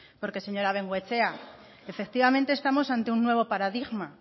porque señora bengoechea efectivamente estamos ante un nuevo paradigma